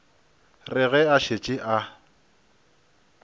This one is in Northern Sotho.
re ge a šetše a